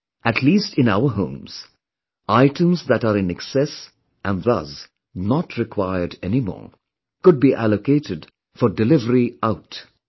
At least in our homes, items that are in excess and thus, not required anymore, could be allocated for 'Delivery Out'